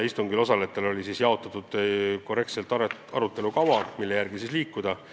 Istungil osalejatele oli jaotatud arutelu kava, mille järgi liikuda.